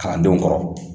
Kalandenw kɔrɔ